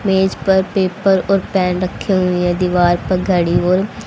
मेज पर पेपर और पेन रखे हुए हैं दीवार पर घड़ी और--